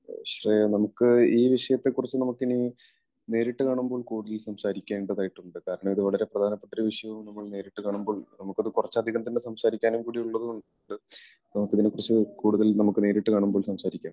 ശ്രേയ നമുക്ക് ഈ വിഷയത്തെക്കുറിച്ച് നമുക്ക് ഇനി നേരിട്ട് കാണുമ്പോൾ കൂടുതലായി സംസാരിക്കേണ്ടതായിട്ടുണ്ട്. കാരണം, ഇത് വളരെ പ്രധാനപ്പെട്ട ഒരു വിഷയം ആകുമ്പോൾ നേരിട്ട് കാണുമ്പോൾ നമുക്ക് കുറച്ച് അധികം തന്നെ സംസാരിക്കാനും കൂടി ഉള്ളതുകൊണ്ട് നമുക്ക് ഇതിനെക്കുറിച്ച് കൂടുതൽ നമുക്ക് നേരിട്ട് കാണുമ്പോൾ സംസാരിക്കാം.